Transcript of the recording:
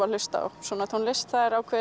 að hlusta á svona tónlist